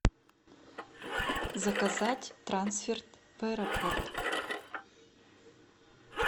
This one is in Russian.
заказать трансфер в аэропорт